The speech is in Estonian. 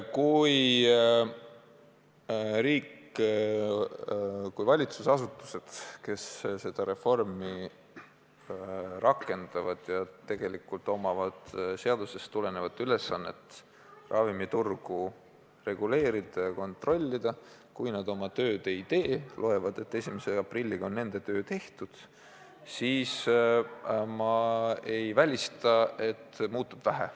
Kui riik, kui valitsusasutused, kes seda reformi rakendavad ja peavad täitma seadusest tulenevat ülesannet ravimiturgu reguleerida ja kontrollida, oma tööd ei tee ja loevad, et 1. aprilliks on nende töö tehtud, siis ma ei välista, et muutub vähe.